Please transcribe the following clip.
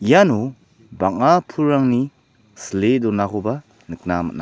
iano bang·a pulrangni sile donakoba nikna man·a.